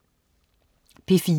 P4: